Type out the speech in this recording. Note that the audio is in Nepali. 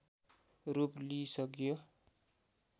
रूप लिइसक्यो